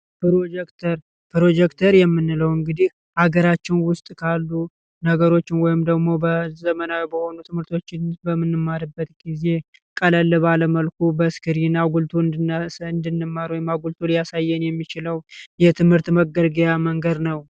ፕሮጀክተር ፕሮጀክተር የምንለው እንግዲህ አገራችን ውስጥ ካሉ ነገሮች ወይም ደግሞ በዘመናዊ በሆኑ ትምህርቶች በምንማርበት ጊዜ ቀለል ባለ መልኩ በስክሪን ጎልቶ እንዲነሳ እንድንማር ወይም አጉልቶ ያሳየን የሚችለው የትምህርት መገልገያ መንገድ ነው።